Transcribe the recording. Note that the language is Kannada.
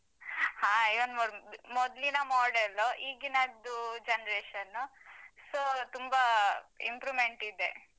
ಹಾ ಯಾರ್ಮದ್ ಮೊದ್ಲಿನ model ಉ ಈಗಿನದ್ದು generation so ತುಂಬಾ improvement ಇದೆ.